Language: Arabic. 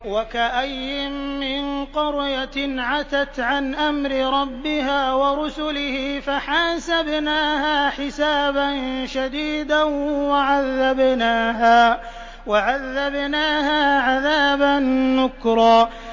وَكَأَيِّن مِّن قَرْيَةٍ عَتَتْ عَنْ أَمْرِ رَبِّهَا وَرُسُلِهِ فَحَاسَبْنَاهَا حِسَابًا شَدِيدًا وَعَذَّبْنَاهَا عَذَابًا نُّكْرًا